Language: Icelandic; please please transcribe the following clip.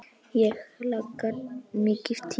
Ég hlakka mikið til.